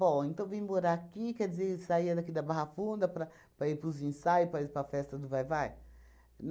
então vim morar aqui, quer dizer, saia daqui da Barra Funda para para ir para os ensaios, depois para a festa do Vai-Vai?